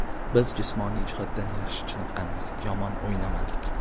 Biz jismoniy jihatdan yaxshi chiniqqanmiz, yomon o‘ynamadik.